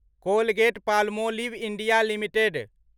Colgate Palmolive India limited